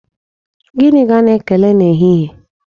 Gịnị ka a na-ekele na ehihie?